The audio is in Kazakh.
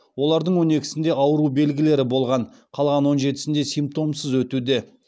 олардың он екісінде ауру белгілері болған қалған он жетісінде симптомсыз өтуде